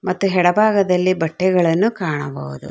ಮತ್ತೆ ಎಡ ಭಾಗದಲ್ಲಿ ಬಟ್ಟೆಗಳನ್ನು ಕಾಣಬಹುದು.